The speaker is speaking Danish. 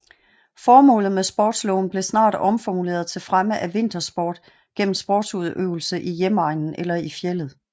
Formålet med sportlovet blev snart omformuleret til fremme af vintersport gennem sportsudøvelse i hjemegnen eller i fjeldet